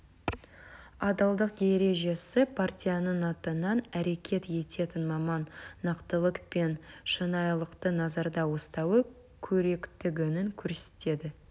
адалдық ережесі партияның атынан әрекет ететін маман нақтылық пен шынайылықты назарда ұстауы керектігін көрсетеді